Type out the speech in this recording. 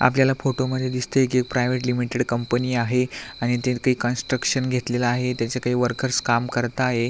आपल्याला फोटोमध्ये दिसतय की प्रायवेट लिमिटेड कंपनी आहे आणि त्याच काही कन्स्ट्रकशन घेतलेल आहे त्याचे काही वर्कर्स काम करत आहे.